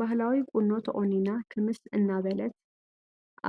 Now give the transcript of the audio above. ባህላዊ ቁኖ ተቆኒና ክምስ እናበለት